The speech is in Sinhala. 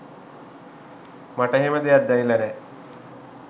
මට එහෙම දෙයක් දැනිලා නෑ.